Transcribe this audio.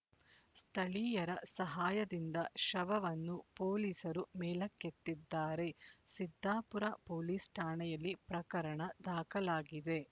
ಸ್ಥಳೀಯರ ಸಹಾಯದಿಂದ ಶವವನ್ನು ಪೋಲಿಸರು ಮೇಲಕ್ಕೆತ್ತಿದ್ದಾರೆ ಸಿದ್ದಾಪುರ ಪೋಲಿಸ್ ಠಾಣೆಯಲ್ಲಿ ಪ್ರಕರಣದಾಖಲಾಗಿದೆ